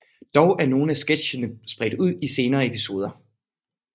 Dog er nogle af sketchene spredt ud i senere episoder